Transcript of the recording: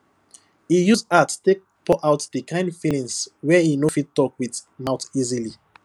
e use art take pour out the kind feelings wey e no fit talk with mouth easily